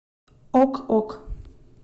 ок ок